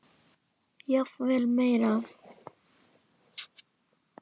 Jafnvel meira.